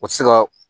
O tɛ se ka